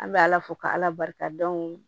An bɛ ala fo k'ala barika da o